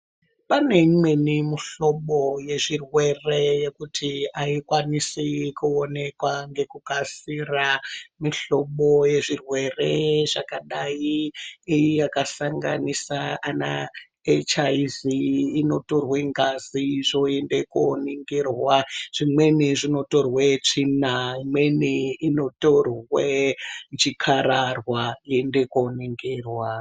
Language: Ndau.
Pane imweñi mihlobo yezvirwere yekuti aikwanisi kuonekwa ngekukasira mihlobo yezvirwere zvakadai yakasanganisa ana echi ayi vhii inotorwe ngazi zvoende koningirwa zvimweni zvinotorwe tsvina imweni inotorwe chikararwa yoende koningirwa.